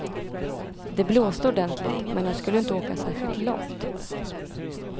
Det blåste ordentligt, men han skulle inte åka särskilt långt.